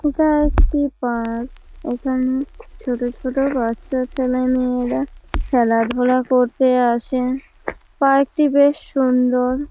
এটা একটি পার্ক । এখানে ছোট ছোট বাচ্চা ছেলেমেয়েরা খেলাধুলা করতে আসে পার্ক -টি বেশ সুন্দর।